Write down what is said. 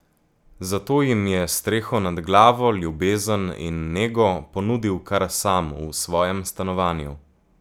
Zato jim je streho nad glavo, ljubezen in nego ponudil kar sam, v svojem stanovanju.